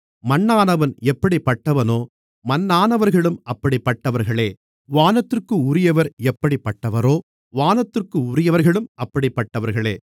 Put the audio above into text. மண்ணானவன் எப்படிப்பட்டவனோ மண்ணானவர்களும் அப்படிப்பட்டவர்களே வானத்திற்குரியவர் எப்படிப்பட்டவரோ வானத்திற்குரியவர்களும் அப்படிப்பட்டவர்களே